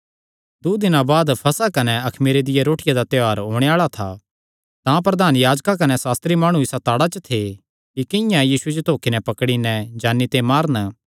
दूँ दिनां बाद फसह कने अखमीरे दी रोटिया दा त्योहार होणे आल़ा था प्रधान याजक कने सास्त्री माणु इसा ताड़ा च थे कि किंआं यीशुये जो धोखे नैं पकड़ी नैं जान्नी ते मारन